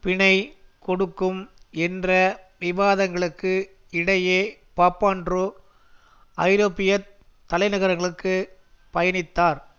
பிணை கொடுக்கும் என்ற விவாதங்களுக்கு இடையே பாப்பாண்ட்ரூ ஐரோப்பிய தலைநகரங்களுக்கு பயணித்தார்